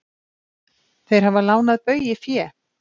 Þeir hafi lánað Baugi fé.